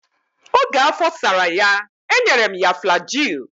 Oge afọ sara ya, e nyere m ya flajil.